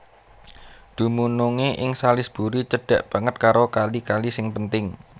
Dumunungé ing Salisbury cedhak banget karo kali kali sing penting